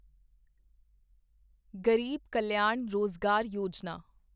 Garib Kalyan Rozgar Yojana